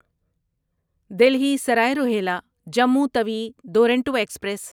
Delhi Sarai Rohilla Jammu Tawi Duronto express